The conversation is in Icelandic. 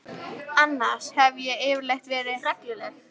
Annars hef ég yfirleitt verið regluleg.